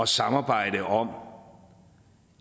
samarbejde om